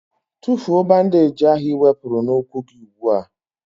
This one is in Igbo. Tụfụọ bandage ahụ i wepụrụ na ụkwụ gị ụgbụa!!!